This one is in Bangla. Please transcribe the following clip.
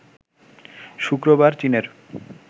শুক্রবার চীনের